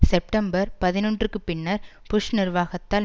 September பதினொன்றுக்கு பின்னர் Bush நிர்வாகத்தால்